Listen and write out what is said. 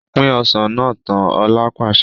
Pin Ọsàn náà tán! Ọ̀la pàṣẹ.